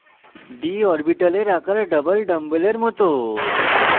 d orbitals আকার double ডাম্বেলের মত হয়